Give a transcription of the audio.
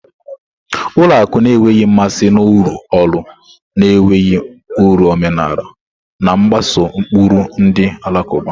Ụlọ akụ na-enweghị mmasị na-urụ ọrụ na-enweghị uru omenala, na-mgbaso ụkpụrụ ndi alakuba.